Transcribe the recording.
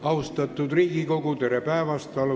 Austatud Riigikogu, tere päevast!